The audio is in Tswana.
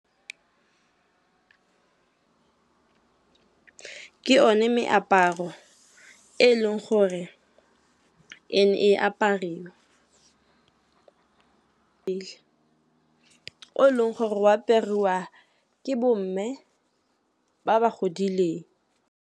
Ke one meaparo e leng gore e ne e apariwa pele, o e leng gore o apariwa ke bo mme ba ba godileng.